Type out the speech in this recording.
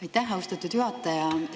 Aitäh, austatud juhataja!